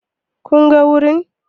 Kun ga wurin?